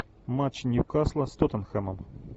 матч ньюкасла с тоттенхэмом